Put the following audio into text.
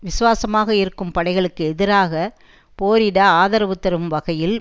விசுவாசமாக இருக்கும் படைகளுக்கு எதிராக போரிட ஆதரவு தரும் வகையில்